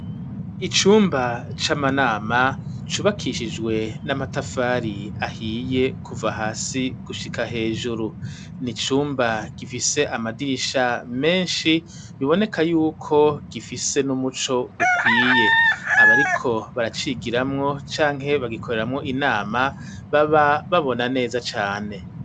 Icumba c'amanama, cubakishijwe n'amatafari ahiye, kuva hasi gushika hejuru; ni icumba gifise, amadirisha menshi, biboneka y'uko, gifise n'umuco ukwiye; abariko baracigiramwo, canke bagikoreramwo inama, baba babona neza cane.